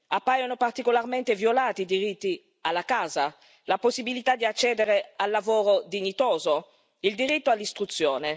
Appaiono particolarmente violati i diritti alla casa, la possibilità di accedere al lavoro dignitoso, il diritto all'istruzione.